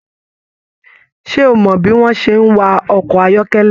Ṣe o mọ bi wọn ṣe n wa ọkọ ayọkẹlẹ?